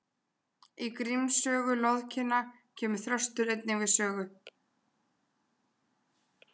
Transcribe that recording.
í gríms sögu loðinkinna kemur þröstur einnig við sögu